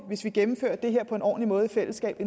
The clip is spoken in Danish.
hvis vi gennemfører det her på en ordentlig måde i fællesskab